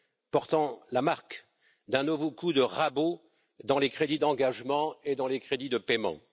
portant la marque d'un nouveau coup de rabot dans les crédits d'engagement et dans les crédits de paiement.